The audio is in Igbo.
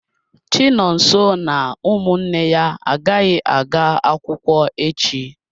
Chinonso na ụmụnne ya agaghị aga akwụkwọ echi.